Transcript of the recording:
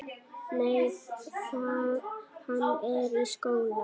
Nei, hann er í skóla.